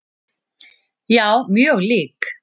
Já, mjög lík.